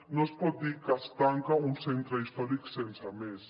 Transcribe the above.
no es pot dir que es tanca un centre històric sense més